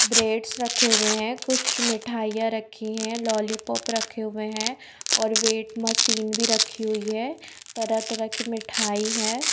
Brands रखे हुए है कुछ मिठाइयां रखी है लॉलिपॉप रखे हुए है और वेट मशीन भी रखी हुई है तरह तरह की मिठाई है।